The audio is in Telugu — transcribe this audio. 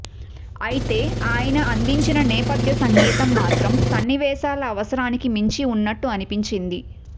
అయితే ఆయన అందించిన నేపధ్య సంగీతం మాత్రం సన్నివేశాల అవసరానికి మించి ఉన్నట్టు అనిపించింది